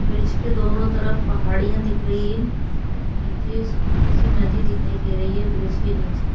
Bridge के दोनों तरफ पहाड़ियाँ दिख रही हैं नीचे सूखी सी नदी दिखाई दे रही है ब्रिज के नीचे।